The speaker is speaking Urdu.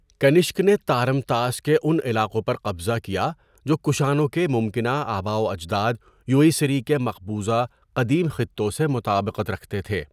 کنشک نے تارم طاس کے ان علاقوں پر قبضہ کیا جو کشانوں کے ممکنہ آباؤ اجداد یوئیژی کے مقبوضہ قدیم خطوں سے مطابقت رکھتے تھے۔